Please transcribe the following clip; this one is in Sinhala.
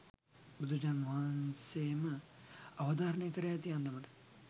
බුදුරජාණන් වහන්සේ ම අවධාරණය කර ඇති අන්දමට,